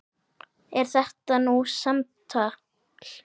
Er það nú samtal!